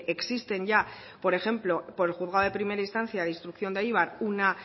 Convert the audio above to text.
existen ya por ejemplo por el juzgado de primera instancia e instrucción de eibar una